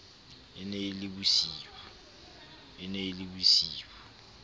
e ne e le bosiu